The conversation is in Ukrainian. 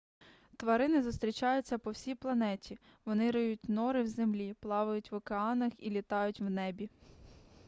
тварини зустрічаються по всій планеті вони риють нори в землі плавають в океанах і літають в небі